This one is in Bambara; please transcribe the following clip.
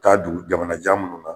Taa dugu jamana jan minnu na